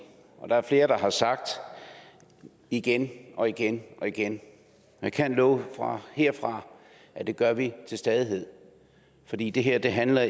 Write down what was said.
og der er flere der har sagt igen og igen og igen jeg kan love herfra at det gør vi til stadighed fordi det her ikke handler